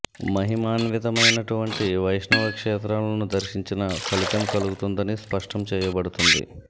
మహిమాన్వితమైనటు వంటి వైష్ణవ క్షేత్రాలను దర్శించిన ఫలితం కలుగుతుందని స్పష్టం చేయబడుతోంది